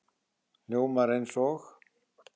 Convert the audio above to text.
Hljómar eins og